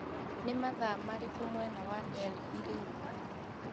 nĩ mathaa marĩkũ mwena wa Delhi rĩu